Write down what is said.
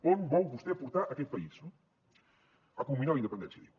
on vol vostè portar aquest país no a culminar la independència diu